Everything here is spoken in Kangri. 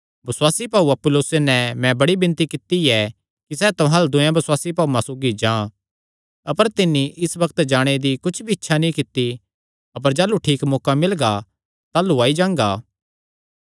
बसुआसी भाऊ अपुल्लोसे नैं मैं बड़ी विणती कित्ती ऐ कि सैह़ तुहां अल्ल दूयेयां बसुआसी भाऊआं सौगी जां अपर तिन्नी इस बग्त जाणे दी कुच्छ भी इच्छा नीं कित्ती अपर जाह़लू ठीक मौका मिलगा ताह़लू आई जांगा